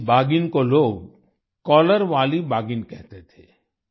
इस बाघिन को लोग कॉलर वाली बाघिन कहते थे